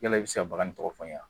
Yala i bɛ se baga in tɔgɔ fɔ n ye wa?